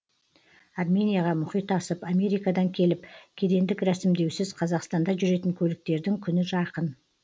арменияға мұхит асып америкадан келіп кедендік рәсімдеусіз қазақстанда жүретін көліктердің күні жақын